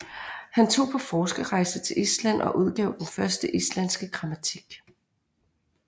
Han tog på forskerrejse til Island og udgav den første islandske grammatik